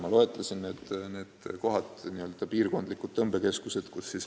Ma loetlesin need kohad, need on piirkondlikud tõmbekeskused.